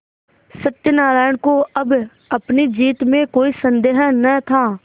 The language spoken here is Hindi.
सत्यनाराण को अब अपनी जीत में कोई सन्देह न था